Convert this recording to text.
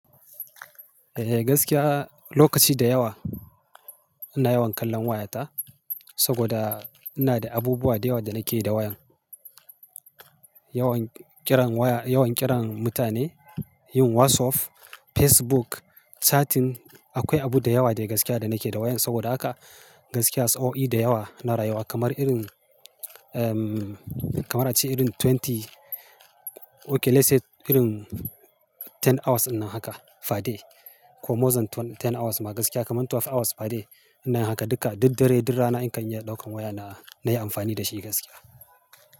Eh gaskiya lokaci da yawa ina yawan kallon wayata saboda ina da abubuwa da yawa da nake yi da wayan. Yawan kiran waya, yawan kiran mutane, yin WhatsApp, Facebook, chatting. Akwai abu da yawa da gaskiya da nake da wayan saboda haka gaskiya sa'o'i da yawa na rayuwa kamar irin, ehm, kamar a ce irin twenty, okay let's say irin ten hours ina haka fa day ko mosan ten hours ma gaskiya kamar twelve hours fa day ina haka duka. Duk dare, duk rana in kan iya ɗaukan waya na, na yi amfani da shi gaskiya.